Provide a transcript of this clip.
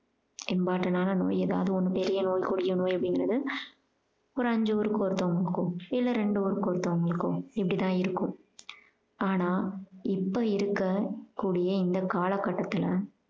important ஆன நோய் ஏதாவது ஒன்னு பெரிய நோய் கொடிய நோய் அப்படின்றது ஒரு அஞ்சு பேரு ஒருத்தங்களுக்கோ இல்ல ரெண்டு பேரு ஒருத்தவங்களுக்கோ இப்படித்தான் இருக்கும் ஆனா இப்ப இருக்கக்கூடிய இந்த காலகட்டத்துல